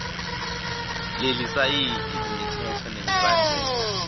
lelisayithi imitsetfo nemibandzela